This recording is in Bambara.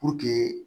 Puruke